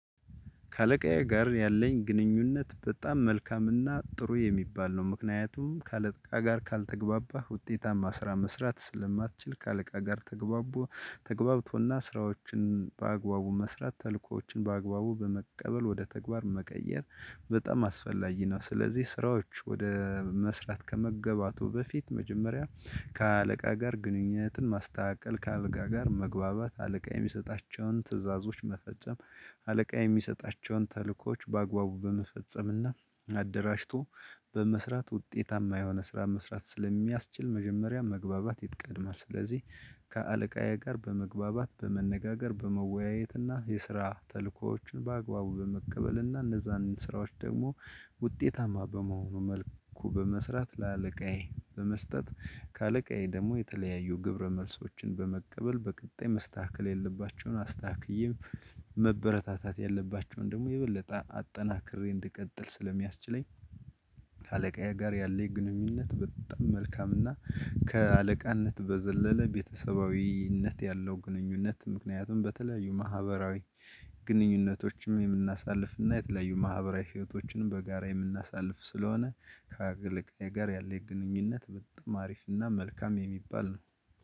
ከአለቃዬ ጋር ያለኝ ግንኙነት በጣም መልካምና ጥሩ የሚባል ነው። ምክንያቱም ከአለቃ ጋር ካልተግባባህ ውጤታማ ስራ መስራት ስለማትችል ካለቃ ጋር ተግባብቶ ተግባብቶና ስራዎችን በአግባቡ መስራት ተልእኮዎችን በአግባቡ በመቀበል ወደ ተግባር መቀየር በጣም አስፈላጊ ነው፤ ስለዚህ ስራዎች ወደ መስራት ከመገባቱ በፊት መጀመሪያ ከአለቃ ጋር ግንኙነትን ማስተካከል፣ ከአለቃ ጋር መግባባት፣ አለቃ የሚሰጣቸውን ትዕዛዞች መፈጸም፣ አለቃ የሚሰጣቸውን ተልእኮዎች በአግባቡ በመፈጸምና አደራጅቶ በመስራት ውጤታማ የሆነ ስራ መስራት ስለሚያስችል መጀመሪያ መግባባት ይትቀድማል፣ ስለዚህ ከአለቃዬ ጋር በመግባባት በመነጋገር በመወያየት እና የስራ ተልእኮዎችን በአግባቡ በመቀበል እና እነዛን ስራዎች ደግሞ ውጤታማ በመሆኑ መልኩ በመስራት ለአለቃዬ በመስጠት ከአለቃዬ ደግሞ የተለያዩ ግብረ መልሶችን በመቀበል በቀጣይ መስተካከል ያለባቸውን አስተካክዬም መበረታታት ያለባቸውን ደግሞ የበለጠ አጠናክሬ እንድቀጥል ስለሚያስችለኝ። ከአለቃዬ ጋር ያለው ግንኙነት በጣም መልካም እና ከአለቃነት በዘለለ ቤተሰባዊነት ያለው ግንኙነት ምክንያቱም በተለያዩ ማህበራዊ ግንኙነቶችም የምናሳልፍ እና የተለያዩ ማህበራዊ ህይወቶችንም በጋራ የምናሳልፍ ስለሆነ። ከአገልጋዬ ጋር ያለኝ ግንኙነት በጣም አሪፍና መልካም የሚባል ነው።